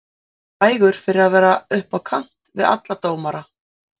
Hann var frægur fyrir að vera upp á kant við alla dómara.